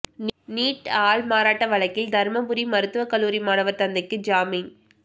NEET ஆள்மாறாட்ட வழக்கில் தருமபுரி மருத்துவக் கல்லூரி மாணவர் தந்தைக்கு ஜாமீன்